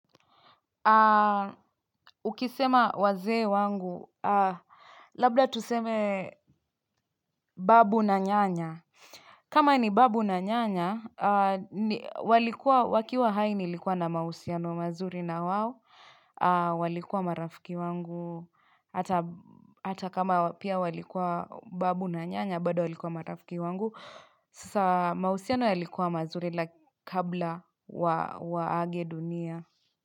Ukisema wazee wangu, labda tuseme babu na nyanya. Kama ni babu na nyanya, wakiwa haini likuwa na mahusiano mazuri na wao, walikuwa marafiki wangu. Hata kama pia walikuwa babu na nyanya, bado walikuwa marafiki wangu. Sasa, mahusiano yalikuwa mazuri la kabla waage dunia.